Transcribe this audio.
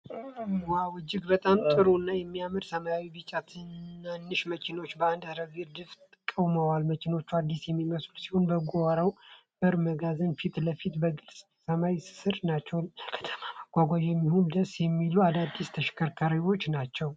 ዋው! እጅግ በጣም ጥሩ እና የሚያምሩ ሰማያዊና ቢጫ ትናንሽ መኪናዎች በአንድ ረድፍ ቆመዋል። መኪኖቹ አዲስ የሚመስሉ ሲሆኑ በጓሮ በር መጋዘን ፊት ለፊት በግልጽ ሰማይ ስር ናቸው። ለከተማ መጓጓዣ የሚሆኑ ደስ የሚሉ አዳዲስ ተሽከርካሪዎች ናቸው።